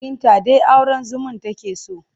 Binta dai auren zumun take so.